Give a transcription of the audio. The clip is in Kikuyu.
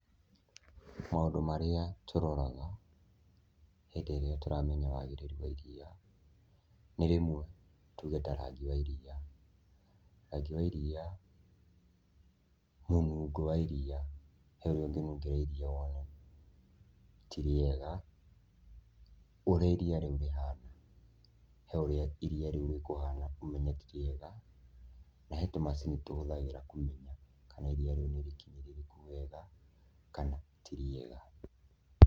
Maũndũ marĩa tũroraga hĩndĩ iria tũramenya wagĩrĩru wa iria nĩ rĩmwe tũge ta rangi wa iria. Rangi wa iria, mũnungo wa iria, he ũrĩa ũngĩnungĩra iria woone ti rĩega. Ũrĩa iria rĩu rĩhana, he ũrĩa iria rĩu rĩkũhana ũmenye ti rĩega na he tũmacini tũhũthagĩra kũmenya kana iria rĩu nĩ rĩkinyĩrĩrĩku wega kana ti rĩega.